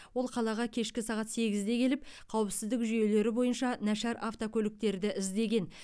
ол қалаға кешкі сағат сегізде келіп қауіпсіздік жүйелері бойынша нашар автокөліктерді іздеген